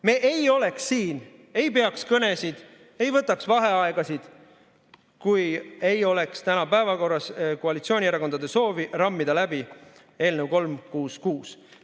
Me ei oleks siin, ei peaks kõnesid, ei võtaks vaheaegasid, kui täna ei oleks päevakorras koalitsioonierakondade soovi rammida läbi eelnõu 366.